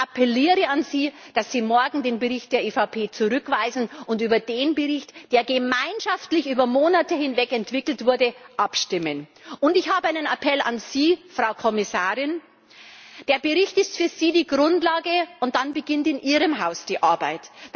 Ich appelliere an Sie, dass Sie morgen die alternative Entschließung der EVP zurückweisen und über den Bericht, der gemeinschaftlich über Monate hinweg entwickelt wurde, abstimmen. Und ich habe einen Appell an Sie, Frau Kommissarin Der Bericht ist für Sie die Grundlage, und dann beginnt in Ihrem Haus die Arbeit.